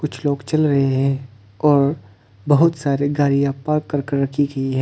कुछ लोग चल रहे हैं और बहुत सारे गाड़ियां पार्क कर कर रखी गई हैं।